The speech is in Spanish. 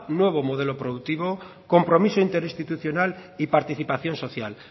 nuevo modelo productivo compromiso interinstitucional y participación social